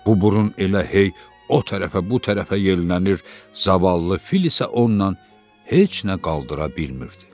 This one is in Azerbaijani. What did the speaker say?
Bu burun elə hey o tərəfə, bu tərəfə yellənir, zavallı fil isə ondan heç nə qaldıra bilmirdi.